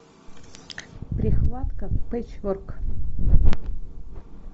прихватка печворк